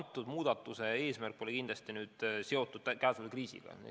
Selle muudatuse eesmärk pole kindlasti seotud ainult käesoleva kriisiga.